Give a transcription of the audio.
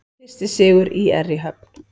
Fyrsti sigur ÍR í höfn